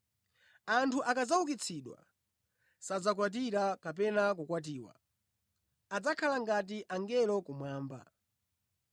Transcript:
Anthu akadzaukitsidwa, sadzakwatira kapena kukwatiwa; adzakhala ngati angelo kumwamba.